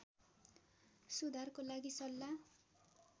सुधारको लागि सल्लाह